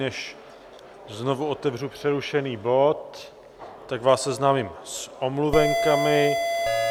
Než znovu otevřu přerušený bod, tak vás seznámím s omluvenkami.